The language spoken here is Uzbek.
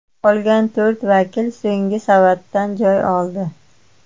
Qolgan to‘rt vakil so‘nggi savatdan joy oldi.